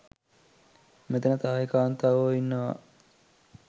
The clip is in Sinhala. මෙතන තායි කාන්තාවෝ ඉන්නවා